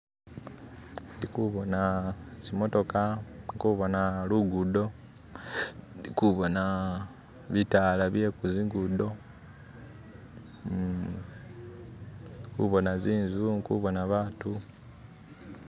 Ndikuboona tsimotoka , ndi kuboona lugudo, ndikuboona bitala bye kuzingudo uh ndi kuboona zinzu ndi kuboona batu.